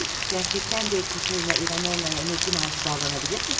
Gerçəkdən də Katerina İvanovnaya əməkli maaşı bağlanabilirmi?